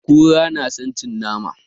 Kura na san cin nama